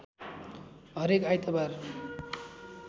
हरेक आइतबार